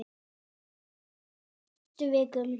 Sindri: Næstu vikum?